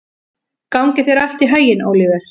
Gangi þér allt í haginn, Óliver.